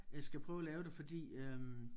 Øh skal prøve at lave det fordi øh